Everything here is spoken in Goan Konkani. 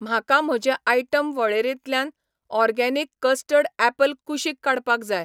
म्हाका म्हजे आयटम वळेरेंतल्यान ऑर्गेनिक कस्टर्ड ऍपल कुशीक काडपाक जाय.